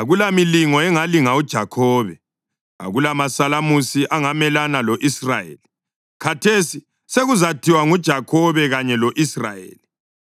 Akulamilingo engalinga uJakhobe, akulamasalamusi angamelana lo-Israyeli. Khathesi sekuzathiwa ngoJakhobe kanye lo-lsrayeli,